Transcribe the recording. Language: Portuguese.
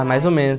Ah, mais ou menos.